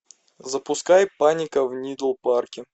запускай паника в нидл парке